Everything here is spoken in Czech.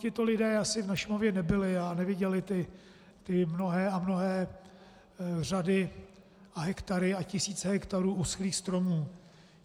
Tito lidé asi na Šumavě nebyli a neviděli ty mnohé a mnohé řady a hektary a tisíce hektarů uschlých stromů.